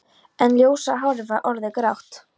En ljósa hárið var orðið grátt.